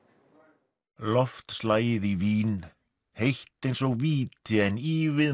loftslagið í Vín heitt eins og víti en ívið